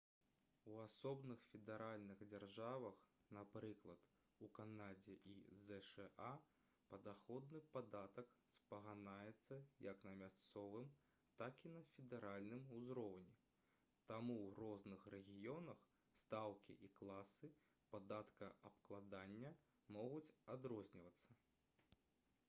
у асобных федэральных дзяржавах напрыклад у канадзе і зша падаходны падатак спаганяецца як на мясцовым так і на федэральным узроўні таму ў розных рэгіёнах стаўкі і класы падаткаабкладання могуць адрознівацца